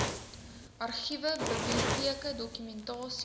argiewe biblioteke dokumentasie